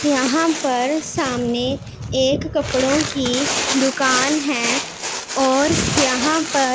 यहां पर सामने एक कपड़ों की दुकान है और यहां पर--